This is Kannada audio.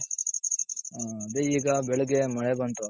ಹ್ಮ್ ಅದೇ ಈಗ ಬೆಳಗ್ಗೆ ಮಳೆ ಬಂತು.